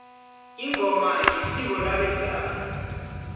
ingoma yisiko labe sana